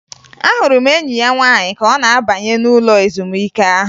Ahụrụ m enyi ya nwaanyị ka ọ na-abanye ụlọ ezumike ahụ